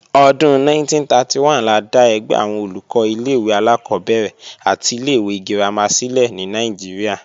Ọdún 1931 la dá ẹgbẹ́ àwọn Olùkọ́ ilé-ìwé alákọ́bẹ̀rẹ̀ àti ilé-ìwé girama sílẹ̀ ní Nàìjíríà